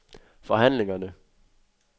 forhandlingerne